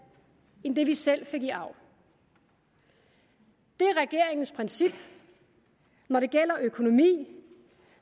end det vi selv fik i arv det er regeringens princip når det gælder økonomi